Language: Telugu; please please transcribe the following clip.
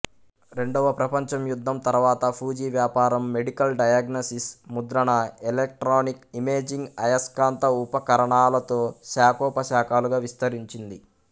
రెండవ ప్రపంచ యుద్ధం తర్వాత ఫూజీ వ్యాపారం మెడికల్ డయాగ్నసిస్ ముద్రణ ఎలెక్ట్రానిక్ ఇమేజింగ్ ఆయస్కాంత ఉపకరణాలలో శాఖోపశాఖలుగా విస్తరించింది